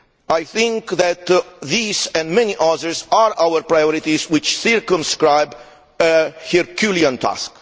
I think that these and many others are our priorities which circumscribe a Herculean task.